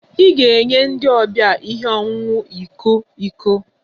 I ga-enye ndi ọbia ihe ọṅụṅụ iko iko